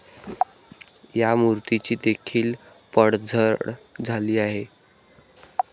या मूर्तीची देखील पडझड झाली आहे.